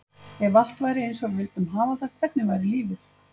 Ef allt væri eins og við vildum hafa það, hvernig væri lífið?